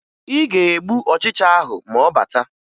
Ị ga-egbu ọchịcha ahụ ma ọ bata